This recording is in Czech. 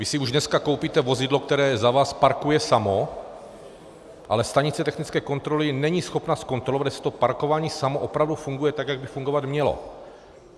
Vy si už dneska koupíte vozidlo, které za vás parkuje samo, ale stanice technické kontroly není schopna zkontrolovat, jestli to parkování samo opravdu funguje tak, jak by fungovat mělo.